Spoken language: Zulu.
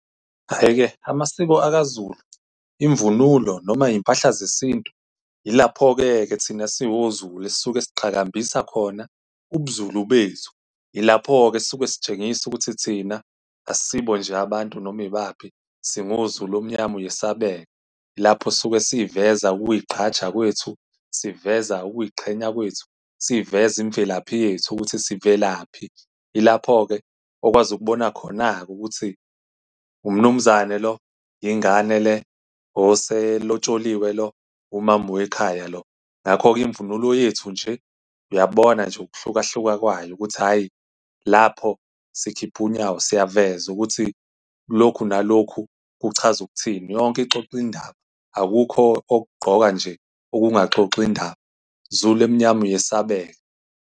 Hhayi-ke, amasiko aKwaZulu, imvunulo, noma izimpahla zesintu, ilapho-ke ke thina esingoZulu esisuke siqhakambisa khona ubuZulu bethu, ilapho-ke esisuke sitshengisa ukuthi thina asisibo nje abantu noma ibaphi. SingoZulu omnyama uyesabeka. Lapho esuke siyiveza ukuy'gqaja kwethu, siveza ukuyiqhenya kwethu, siyiveza imvelaphi yethu ukuthi sivelaphi. Ilapho-ke okwazi ukubona khona-ke ukuthi umnumzane lo, ingane le, oselotsholilwe lo, umama wekhaya lo. Ngakho-ke imvunulo yethu nje, uyabona nje ukuhlukahluka kwayo ukuthi hhayi lapho sikhiphe unyawo. Siyaveza ukuthi lokhu nalokhu kuchaza ukuthini. Yonke ixoxa indaba. Akukho okugqoka nje okungaxoxi indaba. Zulu omnyama uyesabeka!